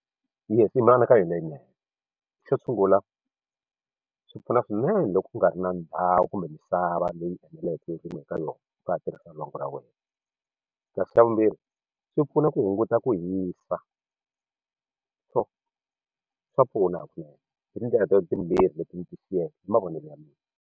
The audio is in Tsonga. Yes i mianakanyo leyinene xo sungula swi pfuna swinene loko u nga ri na ndhawu kumbe misava leyi eneleke ya ku rima eka yona u nga ha tirhisa lwangu ra wena kasi xa vumbirhi swi pfuna ku hunguta ku hisa so swa pfuna swinene hakunene hi tindlela to timbirhi leti ni ti xiyeke hi mavonelo ya mina.